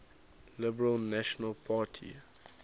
liberal national party